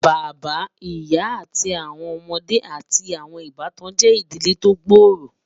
Bàbá, ìyà, àti awọn ọmọde, àti awọn ìbàtàn jẹ́ ìdílé tí o gbóòró